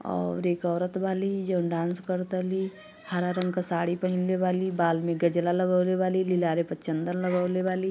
और एक औरत वाली जौन डांस कर ताली। हरा रंग क साड़ी पहिनले वाली बाल में गजला लगवले वाली लीलारे प चंदन लगवले वाली।